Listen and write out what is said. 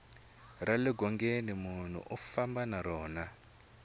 rale ngongeni nmunhu u famba na rona